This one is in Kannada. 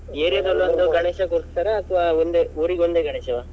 ಗಣೇಶ ಕೂರಿಸ್ತಾರಾ ಅಥ್ವಾ ಒಂದೇ ಊರಿಗೊಂದೇ ಗಣೇಶವ.